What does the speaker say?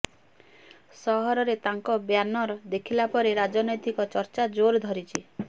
ସହରରେ ତାଙ୍କ ବ୍ୟାନର ଦେଖିଲା ପରେ ରାଜନୈତିକ ଚର୍ଚ୍ଚା ଜୋର ଧରିଛି